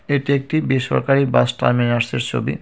এটি একটি বেসরকারি বাস টারমিনার্সের ছবি.